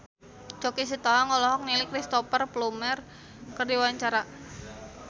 Choky Sitohang olohok ningali Cristhoper Plumer keur diwawancara